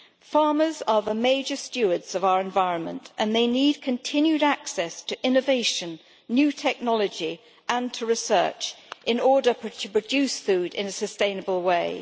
Farmers are the major stewards of our environment and they need continued access to innovation, new technology and research in order to produce food in a sustainable way.